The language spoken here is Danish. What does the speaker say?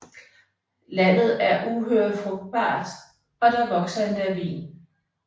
Landet er uhyre frugtbart og der vokser endda vin